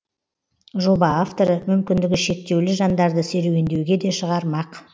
жоба авторы мүмкіндігі шектеулі жандарды серуендеуге де шығармақ